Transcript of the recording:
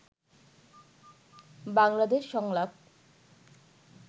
বাংলাদেশ সংলাপ